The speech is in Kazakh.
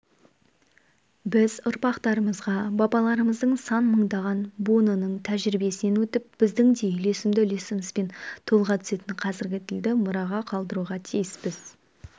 біз ұрпақтарымызға бабаларымыздың сан мыңдаған буынының тәжірибесінен өтіп біздің де үйлесімді үлесімізбен толыға түсетін қазіргі тілді мұраға қалдыруға тиіспіз